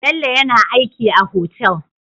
Bello yAna aiki a hotel